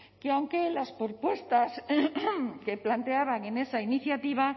que aunque las propuestas que planteaban en esa iniciativa